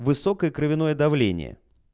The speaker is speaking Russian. высокое кровяное давление